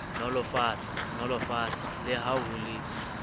nolofatsa le ha ho le